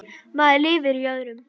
Maður lifir öðrum.